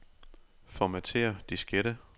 Formatér diskette.